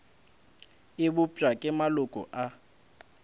e bopša ke maloko a